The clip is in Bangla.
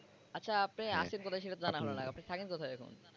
আচ্ছা আপনি আছেন কোথায় সেটাতো জানা হলো না। আপনি থাকেন কোথায় এখন?